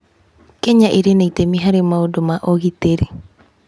Kenya ĩrĩ na itemi harĩ maũndũ ma ũgitĩri.